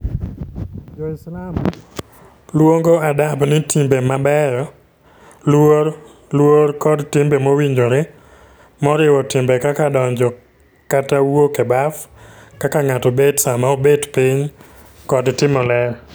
Jo-Islam luongo Adab ni timbe mabeyo, luor, luor, kod timbe mowinjore, moriwo timbe kaka donjo kata wuok e baf, kaka ng'ato bet sama obet piny, kod timo ler.